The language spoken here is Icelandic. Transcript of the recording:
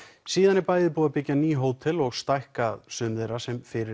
síðan er bæði búið að byggja ný hótel og stækka sum þeirra sem fyrir